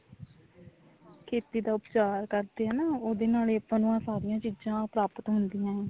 ਖੇਤੀ ਦਾ ਉਪਚਾਰ ਕਰਦੇ ਆ ਉਹਦੇ ਨਾਲ ਏ ਆਪਾਂ ਨੂੰ ਇਹ ਸਾਰੀਆਂ ਚਿਆਂ ਪ੍ਰਾਪਤ ਹੁੰਦੀਆਂ ਨੇ